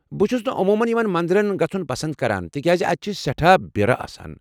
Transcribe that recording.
بہٕ چھس نہٕ عموٗمن یمن منٛدرن گژھٗن پسند کران تکیازِ اتہِ چھِ سیٚٹھاہ بِیرٕ آسان۔